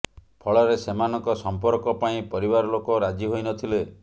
ଫଳରେ ସେମାନଙ୍କ ସଂପର୍କ ପାଇଁ ପରିବାର ଲୋକ ରାଜି ହୋଇନଥିଲେ